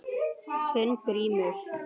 Þinn Grímur.